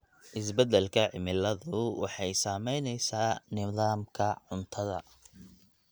Isbeddelka cimiladu waxay saamaynaysaa nidaamka cuntada.